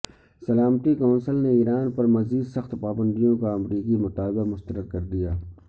سلامتی کونسل نے ایران پر مزید سخت پابندیوں کا امریکی مطالبہ مسترد کردیا